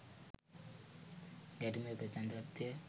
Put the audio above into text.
ගැටුමේ ප්‍රචණ්ඩත්වය